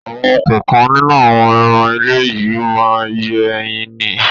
Àwọn kọ̀ọ̀kan nínú àwọn ẹran ilé yìí má ń yé ẹyin ni.